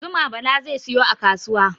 Zuma Bala zai sayo a kasuwa.